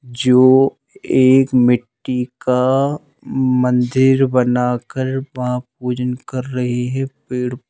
जो एक मिट्टी का मंदिर बनाकर वहाँ पूजन कर रहे हैं पेड़--